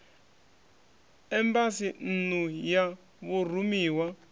embasi nn u ya vhurumiwa